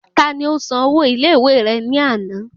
Tani ó san ọwọ́ ilé ìwé rẹ ní àná?